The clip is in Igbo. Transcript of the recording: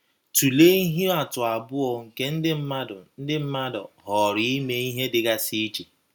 Tụlee ihe atụ abụọ nke ndị mmadụ ndị mmadụ họọrọ ime ihe dịgasị iche.